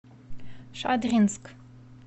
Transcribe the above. шадринск